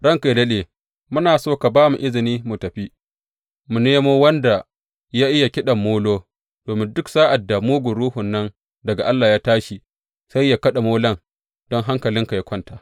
Ranka yă daɗe, muna so ka ba mu izini mu tafi, mu nemo wanda ya iya kiɗan molo, domin duk sa’ad da mugun ruhun nan daga Allah ya tashi, sai yă kaɗa molon don hankalinka yă kwanta.